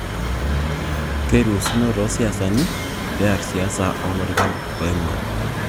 Keiruusino toosiasani peyie eer siasa oolorikan oing'oru